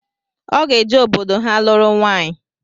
Ọ ga-eje obodo ha lụrụ nwaịyi